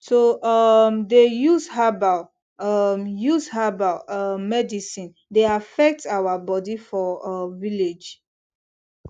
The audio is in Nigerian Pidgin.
to um dey use herbal um use herbal um medicine dey affect our body for um village